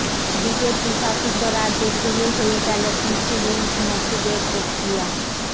BJP শাসিত রাজ্যে শুরু হয়ে গেল কৃষি ঋণ মকুবের প্রক্রিয়া